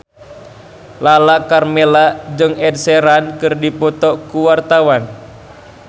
Lala Karmela jeung Ed Sheeran keur dipoto ku wartawan